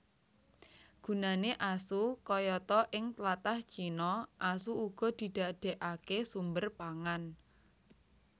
Gunané asu kayata Ing tlatah Cina asu uga didadèkaké sumber pangan